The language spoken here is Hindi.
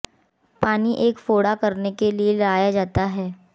पानी एक फोड़ा करने के लिए लाया जाता है